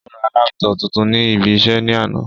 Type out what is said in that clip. Ó ra laptop tuntun ní ibi iṣẹ́ ní àná